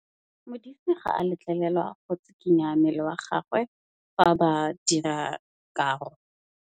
Modise ga a letlelelwa go tshikinya mmele wa gagwe fa ba dira karô.